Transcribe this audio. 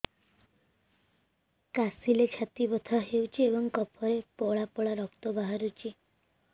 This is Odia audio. କାଶିଲେ ଛାତି ବଥା ହେଉଛି ଏବଂ କଫରେ ପଳା ପଳା ରକ୍ତ ବାହାରୁଚି